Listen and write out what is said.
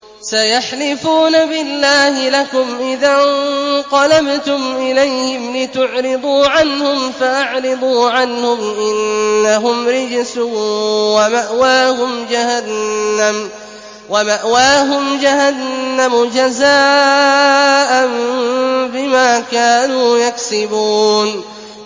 سَيَحْلِفُونَ بِاللَّهِ لَكُمْ إِذَا انقَلَبْتُمْ إِلَيْهِمْ لِتُعْرِضُوا عَنْهُمْ ۖ فَأَعْرِضُوا عَنْهُمْ ۖ إِنَّهُمْ رِجْسٌ ۖ وَمَأْوَاهُمْ جَهَنَّمُ جَزَاءً بِمَا كَانُوا يَكْسِبُونَ